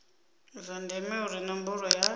zwa ndeme uri ṋomboro ya